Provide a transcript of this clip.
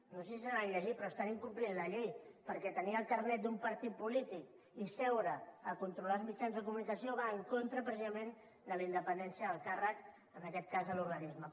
no sé si se l’han llegit però estan incomplint la llei perquè tenir el carnet d’un partit polític i seure per controlar els mitjans de comunicació va en contra precisament de la independència del càrrec en aquest cas de l’organisme